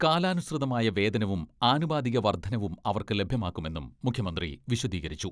കാലാനുസൃതമായ വേതനവും ആനുപാതിക വർദ്ധനയും അവർക്ക് ലഭ്യമാക്കുമെന്നും മുഖ്യമന്ത്രി വിശദീകരിച്ചു.